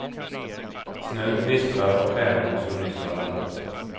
Snön gnistrar av stjärnor som nyss har landat.